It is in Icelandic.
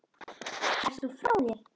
Ertu frá þér!?